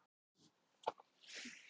Ludvig, hvað er opið lengi á föstudaginn?